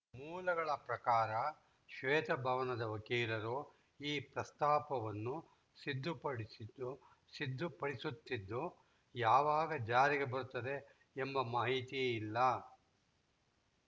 ಮೂಲಗಳ ಪ್ರಕಾರ ಶ್ವೇತಭವನದ ವಕೀಲರು ಈ ಪ್ರಸ್ತಾಪವನ್ನು ಸಿದ್ಧಪಡಿಸುತ್ತಿದ್ದು ಯಾವಾಗ ಜಾರಿಗೆ ಬರುತ್ತದೆ ಎಂಬ ಮಾಹಿತಿ ಇಲ್ಲ